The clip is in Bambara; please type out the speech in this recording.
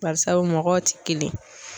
Barisabu mɔgɔw ti kelen ye.